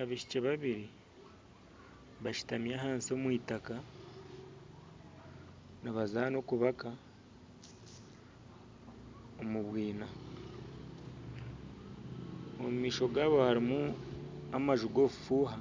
Abaishiki babiri bashutami ahansi omw’itaaka nibazana okubaka omu bwina omu maisho gaabo harimu amanju g'obufuuha